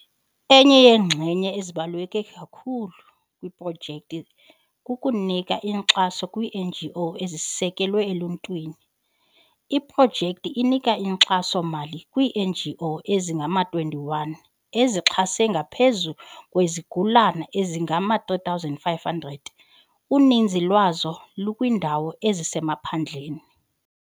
Enye yeenxenye ezibaluleke kakhulu zeprojekthi kukunika inkxaso kwii-NGO ezisekwe eluntwini. Iprojekthi inika inkxaso-mali kwii-NGO ezingama-21 ezixhase ngaphezu kwezigulana ezingama-3500, uninzi lwazo lukwiindawo ezisemaphandleni.